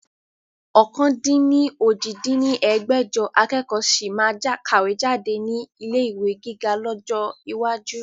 ọ̀kan-dín-ní-ojì dín ní ẹgbẹ́jọ akẹ́kọ̀ sì máa kàwé jáde ní ilé ìwé gíga lọ́jọ́ iwájú